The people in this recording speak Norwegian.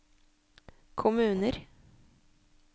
kommuner